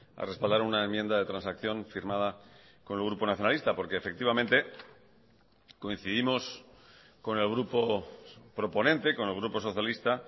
a respaldar una enmienda de transacción firmada con el grupo nacionalista porque efectivamente coincidimos con el grupo proponente con el grupo socialista